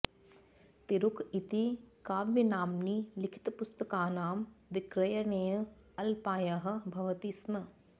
तिरुक इति काव्यनाम्नि लिखितपुस्तकानां विक्रयणेन अल्पायः भवति स्म